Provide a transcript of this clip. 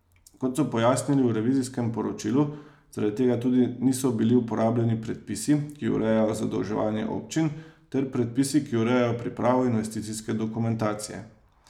Kot so pojasnili v revizijskem poročilu, zaradi tega tudi niso bili uporabljeni predpisi, ki urejajo zadolževanje občin, ter predpisi, ki urejajo pripravo investicijske dokumentacije.